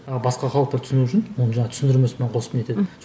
ы басқа халықтар түсінуі үшін оны жаңағы түсіндірмесімен қосып не етеді